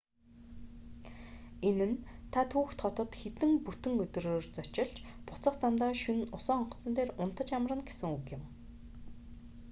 энэ нь та түүхэт хотод хэдэн бүтэн өдрөөр зочилж буцах замдаа шөнө усан онгоцон дээр унтаж амарна гэсэн үг